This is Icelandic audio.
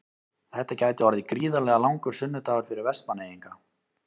Þetta gæti orðið gríðarlega langur sunnudagur fyrir Vestmannaeyinga.